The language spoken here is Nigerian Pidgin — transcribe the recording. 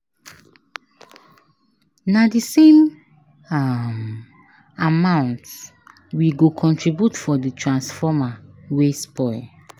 Na di same um amount we go contribute for di transformer wey spoil.